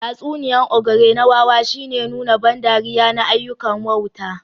Tatsuniyar ogre na wawa shine nuna ban dariya na ayyukan wauta